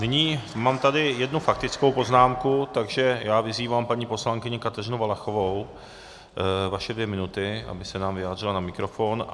Nyní mám tady jednu faktickou poznámku, takže já vyzývám paní poslankyni Kateřinu Valachovou - vaše dvě minuty - aby se nám vyjádřila na mikrofon.